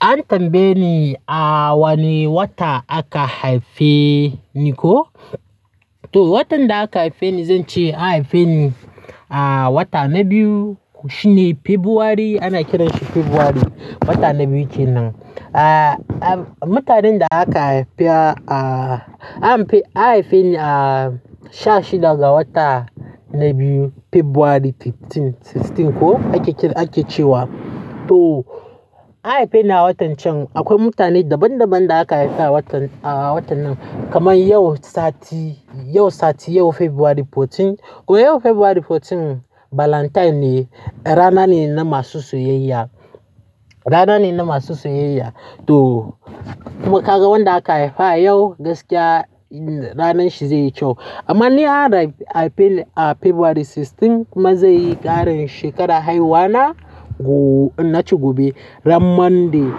An tambaye ni a wane wata aka haife ni ko? To, watan da aka haife ni zan ce aka haife ni a wata na biyu shine Fabrairu ana kiranshi Fabrairu, wata na biyu kenan. Ah, mutanen da aka haifa a, an haife, aka haife ni a 16 ga wata na biyu, Fabrairu 15, 16 ko ake, ake cewa. To an haife ni a watan can. Akwai mutane daban-daban da aka haifa a watan, a watan nan kamar yau sati, yau sati, yau Fabrairu 14. Ko yau Fabrairu 14 Valentine ne, rana ne na masu soyayya. Rana ne na masu soyayya. To, kuma kaga wanda aka haifa yau gaskiya ranan shi zai yi kyau. Amma ni an haife, haife ni a Fabrairu 16 kuma zai yi ƙarin shekarar haihuwa na go, na ce gobe ran Monday.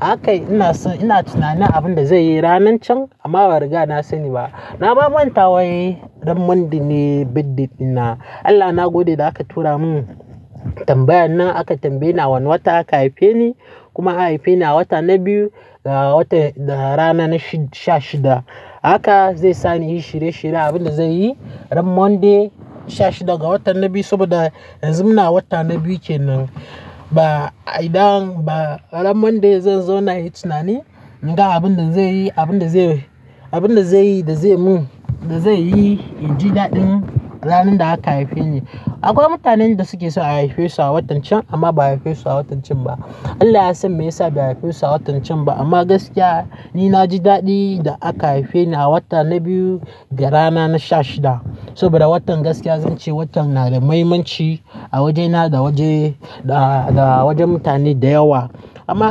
Hakai ina so, ina tunanin abin da zai yi ranan can amma ba rigana sani ba. Na mamanta wai ran Monday ne birthday ɗina. Allah na gode da aka tura mun tambayan nan aka tambaye ni a wane wata aka haife ni kuma an haife ni a wata na biyu ga watan, rana na shid, 16. Haka zai sa ni in yi shirye-shirye abin da zai yi ran Monday 16 ga wata na biyu saboda yanzu muna wata na biyu kenan. Ba idan ba ran Monday zan zo na yi tunani ga abin da zai yi, abin da zai yi, abin da zai yi da zai mun, da zai yi in ji daɗin ranar da aka haife ni. Akwai mutanen da suke so a haife su a watan can amma ba a haife su a watan can ba. Allah ya san me yasa ba a haife su a watan can ba amma gaskiya ni na ji daɗi da aka haife ni a wata na biyu ga rana na 16. Saboda watan gaskiya zan ce watan na da muhimmanci a wajena da waje, da wajen mutane da yawa. Amma.